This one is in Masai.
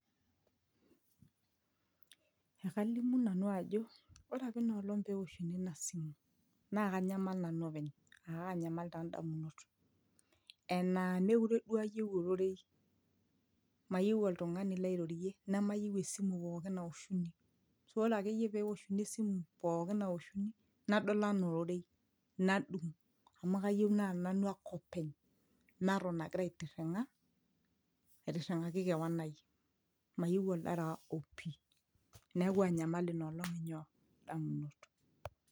ekalimu nanu ajo ore apa inolong pewoshuni ina simu naa kanyamal nanu openy akanyamal taa indamunot enaa mekire duo ayieu ororei mayieu oltung'ani lairorie nemayieu esimu pookin naoshuni ashu ore akeyie pewoshuni esimu pookin nawoshuni nadol anaa ororei nadung amu kayieu naa nanu ake openy naton agira aitirring'a aitirring'aki kewon ai mayieu oldaraa opi neeku anyamal ina olong inyoo indamunot.